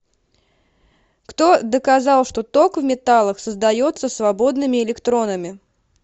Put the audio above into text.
кто доказал что ток в металлах создается свободными электронами